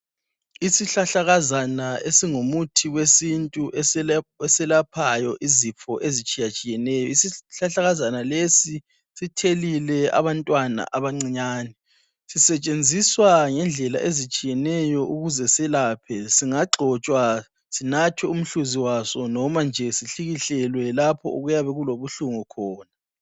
Isihlahlakazana esingumuthi wesintu esiyelaphayo izifo ezitshiye tshiyeneyo, isihlahlakazana lesi sithelile abantwana abancinyane, sisetshenziswa ngendlela ezitshiyeneyo ukuze siyelaphe, singagxotshwa sinathwe umhluzi waso noma nje sihlikihlelwe lapho okuyabe kulobu hlungu khona.